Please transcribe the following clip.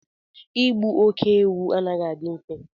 ịgbu óké-ewu anaghị adị mfe